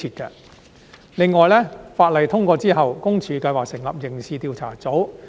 此外，當法例通過後，私隱公署計劃成立刑事調查組。